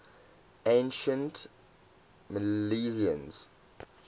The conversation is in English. ancient milesians